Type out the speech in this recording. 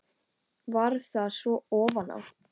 Varð það svo ofan á.